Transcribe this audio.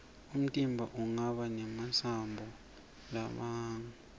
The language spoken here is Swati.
umtimba unqaba nemasambo largabamgu